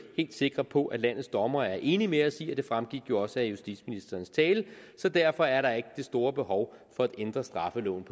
helt sikre på landets dommere er enige med os i og det fremgik jo også af justitsministerens tale så derfor er der ikke det store behov for at ændre straffeloven